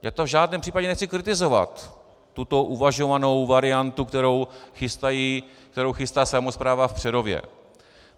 Já to v žádném případě nechci kritizovat, tuto uvažovanou variantu, kterou chystá samospráva v Přerově.